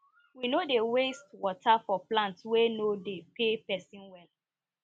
we no dey waste water for plants wey no dey pay pesin well